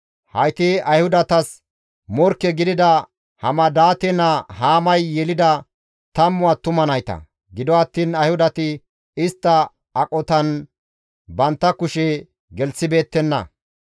Hayti Ayhudatas morkke gidida Hamadaate naa Haamay yelida tammu attuma nayta. Gido attiin Ayhudati istta aqotan bantta kushe gelththibeettenna.